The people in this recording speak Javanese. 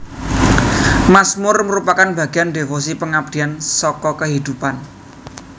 Mazmur merupakan bagian devosi pengabdian saka kehidupan